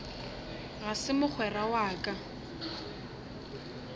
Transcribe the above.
ga se mogwera wa ka